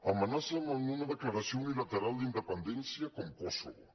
amenacen amb una declaració unilateral d’independència com kosovo